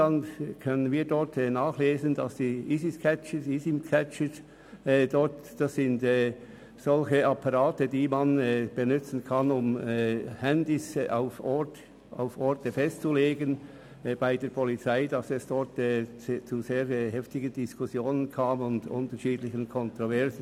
gilt es zu erwähnen, dass es bezüglich der IMSI-Catcher, also der Geräte zur Ortung von Mobilfunkgeräten, und deren Gebrauch durch die Polizei zu heftigen Diskussionen und Kontroversen gekommen ist.